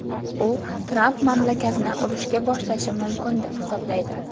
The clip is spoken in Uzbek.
U Tramp mamlakatni urushga boshlashi mumkin deb hisoblaydi.